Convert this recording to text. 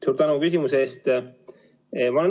Suur tänu küsimuse eest!